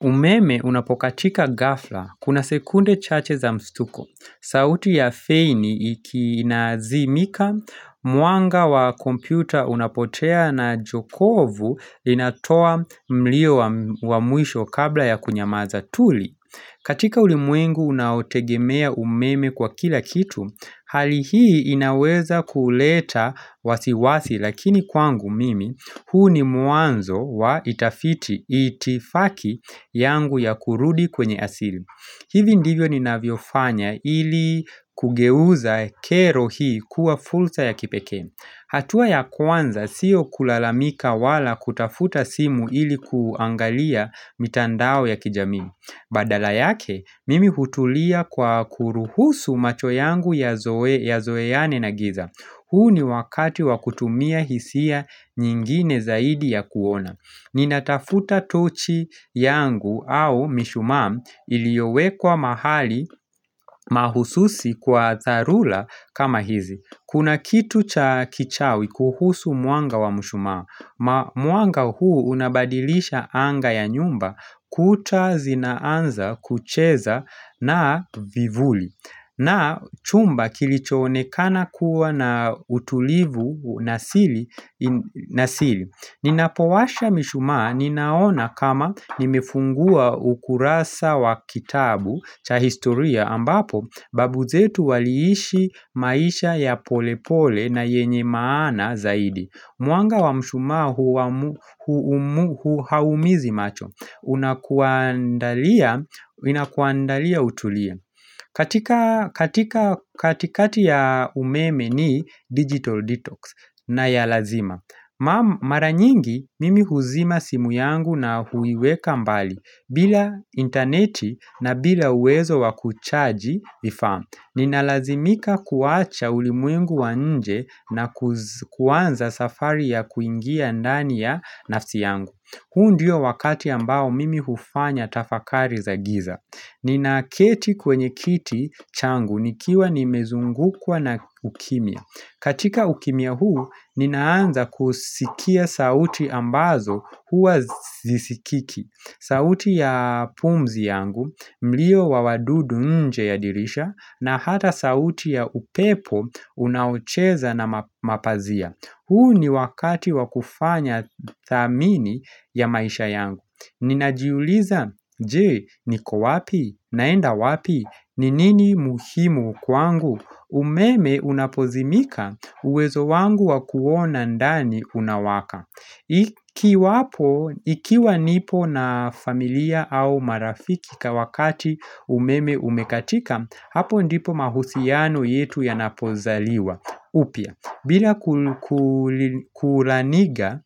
Umeme unapokatika ghafla, kuna sekunde chache za mstuko, sauti ya feini iki inazimika, mwanga wa kompyuta unapotea na jokovu inatoa mlio wa mwisho kabla ya kunyamaza tuli. Katika ulimwengu unaotegemea umeme kwa kila kitu, hali hii inaweza kuleta wasiwasi lakini kwangu mimi, huu ni mwanzo wa itafiti itifaki yangu ya kurudi kwenye asili. Hivi ndivyo ninavyofanya ili kugeuza kero hii kuwa fulsa ya kipekee. Hatua ya kwanza siyo kulalamika wala kutafuta simu ili kuangalia mitandao ya kijamii. Badala yake, mimi hutulia kwa kuruhusu macho yangu yazoeane na giza. Huu ni wakati wa kutumia hisia nyingine zaidi ya kuona. Ninatafuta tochi yangu au mishumaa iliowekwa mahali mahususi kwa dharula kama hizi. Kuna kitu cha kichawi kuhusu mwanga wa mshumaa, mwanga huu unabadilisha anga ya nyumba kuta zinaanza kucheza na vivuli na chumba kilichoonekana kuwa na utulivu nasili Ninapowasha mishumaa ninaona kama nimefungua ukurasa wa kitabu cha historia ambapo babu zetu waliishi maisha ya pole pole na yenye maana zaidi Mwanga wa mshumaa haumizi macho Inakuandalia utulie katika katikati ya umeme ni digital detox na ya lazima Mara nyingi mimi huzima simu yangu na huiweka mbali bila interneti na bila uwezo wa kuchaji vifaa Ninalazimika kuacha ulimwengu wa nje na kuanza safari ya kuingia ndani ya nafsi yangu ku huu ndio wakati ambao mimi hufanya tafakari za giza Ninaketi kwenye kiti changu nikiwa nimezungukwa na ukimya katika ukimya huu ninaanza kusikia sauti ambazo huwa zisikiki sauti ya pumzi yangu, mlio wa wadudu nje ya dirisha na hata sauti ya upepo unaocheza na mapazia. Huu ni wakati wa kufanya thamini ya maisha yangu. Ninajiuliza, je, niko wapi? Naenda wapi? Ni nini muhimu kwangu? Umeme unapozimika uwezo wangu wa kuona ndani unawaka. Ikiwa nipo na familia au marafiki ka wakati umeme umekatika Hapo ndipo mahusiano yetu yanapozaliwa upya, bila kulaniga,